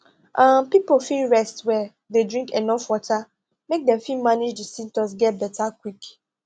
um pipo fit rest well dey drink enuf water make dem fit manage di symptoms get beta quick